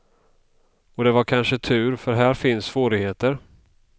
Och det var kanske tur, för här finns svårigheter.